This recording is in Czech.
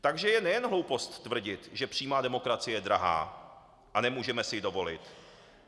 Takže je nejen hloupost tvrdit, že přímá demokracie je drahá a nemůžeme si ji dovolit.